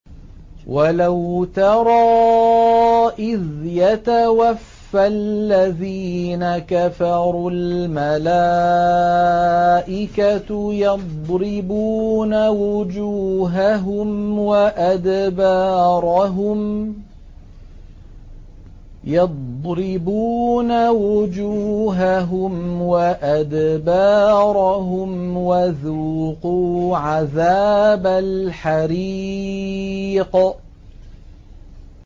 وَلَوْ تَرَىٰ إِذْ يَتَوَفَّى الَّذِينَ كَفَرُوا ۙ الْمَلَائِكَةُ يَضْرِبُونَ وُجُوهَهُمْ وَأَدْبَارَهُمْ وَذُوقُوا عَذَابَ الْحَرِيقِ